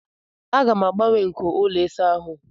M ga-agbanwe nko ụlọ ịsa ahụ